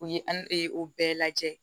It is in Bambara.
U ye an o bɛɛ lajɛ